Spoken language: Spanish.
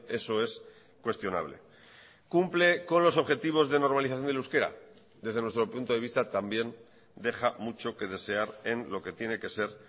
eso es cuestionable cumple con los objetivos de normalización del euskera desde nuestro punto de vista también deja mucho que desear en lo que tiene que ser